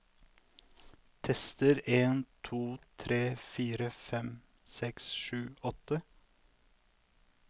Tester en to tre fire fem seks sju åtte